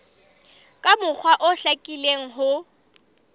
ka mokgwa o hlakileng ho